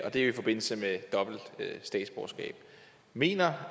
det er jo i forbindelse med dobbelt statsborgerskab mener